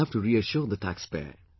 We shall have to reassure the taxpayer